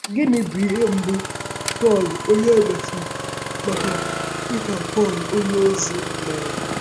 Gịnị bụ ihe mbụ Sọl — onye e mesịrị mara dị ka Pọl onyeozi — mere? um